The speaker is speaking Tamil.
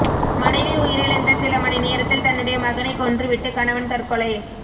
மனைவி உயிரிழந்த சில மணி நேரத்தில் தன்னுடைய மகனை கொன்று விட்டு கணவன் தற்கொலை